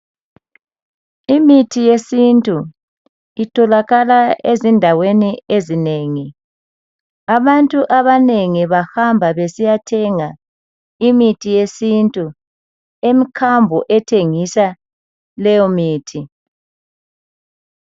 Imithi yesintu itholakala ezindaweni ezinengi abantu abanengi bahamba besiyathenga imithi yesintu emkhambo ethengisa leyo mithi.